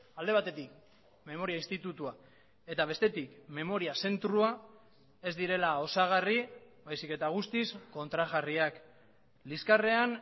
alde batetik memoria institutua eta bestetik memoria zentroa ez direla osagarri baizik eta guztiz kontrajarriak liskarrean